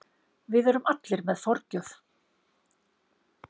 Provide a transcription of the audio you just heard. Við erum allir með forgjöf.